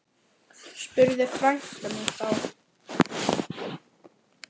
spurði frænka mín þá.